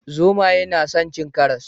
Zomaye na san cin karas